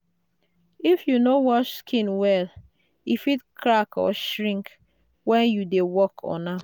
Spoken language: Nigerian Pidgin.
if you no wash skin well e fit crack or shrink when you dey work on am.